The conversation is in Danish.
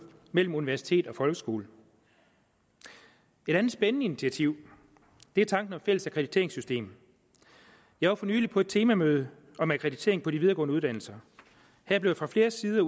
mellem universitet og folkeskole et andet spændende initiativ er tanken om et fælles akkrediteringssystem jeg var for nylig på et temamøde om akkreditering på de videregående uddannelser her blev fra flere sider